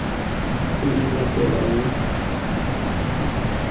e e latelang tlhaka ya